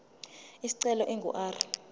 isicelo ingu r